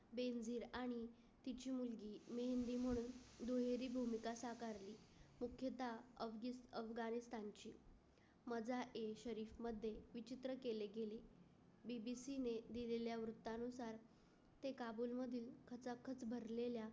दुहेरी भूमिका साठवल्या एकदा अगदी अब्दाली खानचे मजा insurance मध्ये विचित्र केले. BBC ने दिलेल्या वृत्तानुसार ते काबुल मध्ये खचाखच भरलेल्या.